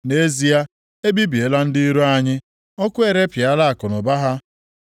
‘Nʼezie, e bibiela ndị iro anyị, ọkụ erepịala akụnụba ha.’